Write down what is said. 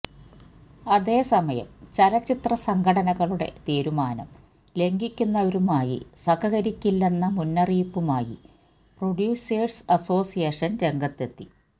അതേസമയം ചലച്ചിത്ര സംഘടനകളുടെ തീരുമാനം ലംഘിക്കുന്നവരുമായി സഹകരിക്കില്ലെന്ന മുന്നറിയിപ്പുമായി പ്രൊഡ്യൂസേഴ്സ് അസോസിയേഷൻ രംഗത്തെത്തി